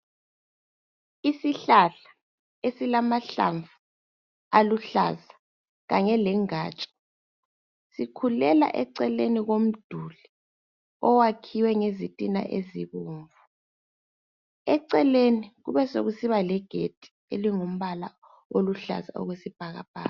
Isihlahla esilamahlamvu aluhlaza kanye lengatsha sikhulela eceleni komduli owakhiwe ngezitina ezibovu eceleni kubesekusiba legedi elingumpala oluhlaza okwesibhakabhaka.